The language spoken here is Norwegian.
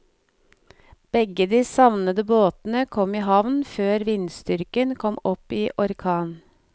Begge de savnede båtene kom i havn før vindstyrken kom opp i orkan.